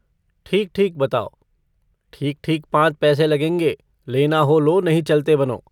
ठीक-ठीक बताओ? ठीक-ठीक पाँच पैसे लगेंगे, लेना हो लो, नहीं चलते बनो।